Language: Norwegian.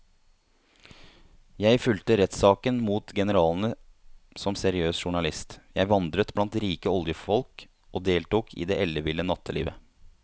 Jeg fulgte rettssakene mot generalene som seriøs journalist, jeg vandret blant rike oljefolk og jeg deltok i det elleville nattelivet.